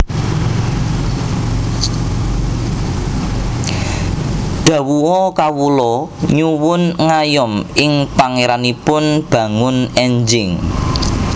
Dhawuha Kawula nyuwun ngayom ing Pangéranipun bangun énjing